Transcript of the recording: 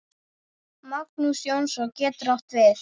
Magnús Jónsson getur átt við